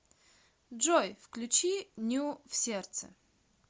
джой включи ню в сердце